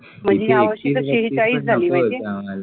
म्हणजे या वर्षी सेहेचाळीस झाले पाहिजेत